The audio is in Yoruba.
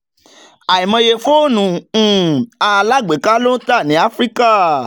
àìmọye fóònù um alágbèéká ló ń tà ní áfíríkà